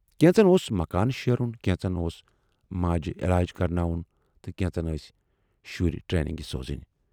کینژن اوس مکان شیرُن، کینژن اوس ماجہِ علاج کَرٕناوُن تہٕ کینژن ٲسۍ شُرۍ ٹریننگہِ سوزٕنۍ۔